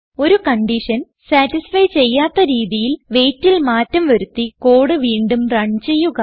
ഒരു condition satisfy ചെയ്യാത്ത രീതിയിൽ weightൽ മാറ്റം വരുത്തി കോഡ് വീണ്ടും റൺ ചെയ്യുക